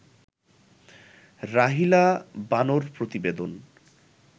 রাহিলা বানো-র প্রতিবেদন